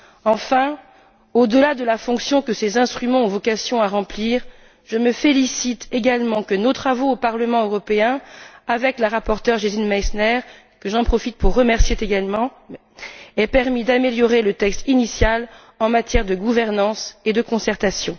Enfin, au delà de la fonction que ces instruments ont vocation à remplir, je me félicite également que nos travaux au Parlement européen, avec la rapporteure Gesine Meissner j'en profite pour la remercier également aient permis d'améliorer le texte initial en matière de gouvernance et de concertation.